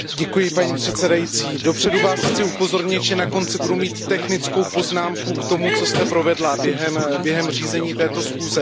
Paní předsedající, dopředu vás chci upozornit, že na konci budu mít technickou poznámku k tomu, co jste provedla během řízení této schůze.